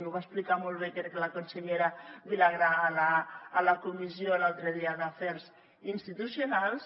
ho va explicar molt bé crec la consellera vilagrà a la comissió l’altre dia d’afers institucionals